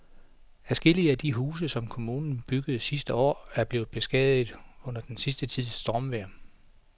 Adskillige af de huse, som kommunen byggede sidste år, er blevet beskadiget under den sidste tids stormvejr.